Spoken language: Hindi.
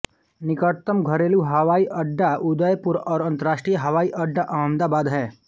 निकटतम घरेलू हवाई अड्डा उदयपुर और अंतरराष्ट्रीय हवाई अड्डा अहमदाबाद है